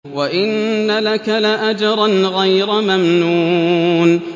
وَإِنَّ لَكَ لَأَجْرًا غَيْرَ مَمْنُونٍ